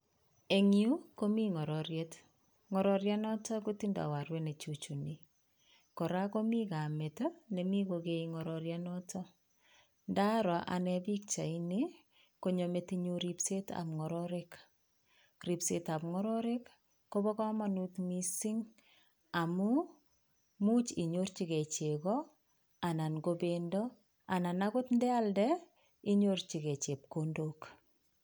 Eng yu komi ng'ororiet. Ng'ororianoto kotindoi arwet nechuchuni kora komi kamet nemi kokee ng'ororianoto. Ndaro ane pikchaini konyo metinyu ripsetap ng'ororik. Ripsetap ng'ororik kopo komonut mising amu much inyorchigei chego anan ko pendo anan akot ndealde inyorchigei chepkondok.